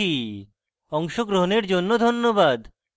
অংশগ্রহনের জন্য ধন্যবাদ